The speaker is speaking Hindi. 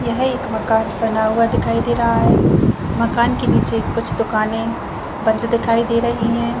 यह एक मकान बना हुआ दिखाई दे रहा है मकान के नीचे कुछ दुकानें बंद दिखाई दे रही हैं।